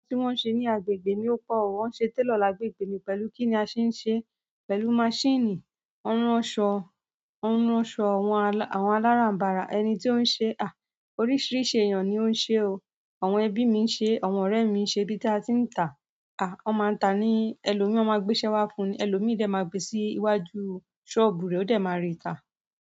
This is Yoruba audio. Tí wọ́n ń ṣe ní agbègbè ni ó pọ̀. Wọ́n ń ṣe télọ̀ lágbègbè mi pẹ̀lú kí ni a ṣe ń ṣe? Pẹ̀lú maṣíìnì, wan n ransọ, àwọn aláràm̀barà, ẹni tí ó ń ṣe, à, oríṣìíríṣìí èèyàn ni ó ń ṣe o. Àwọn ẹbí mi ń ṣe, àwọn ọ̀rẹ́ mi ń ṣe bí tí a ti ń tà. Wọ́n máa ń tà ní ẹlòmíì ọ máa gbéṣẹ́ wá fún ẹlòmíì, ìdẹ máa gbé sí iwájú ṣọ́ọ̀bù rẹ̀, ó dẹ̀ máa ri tà.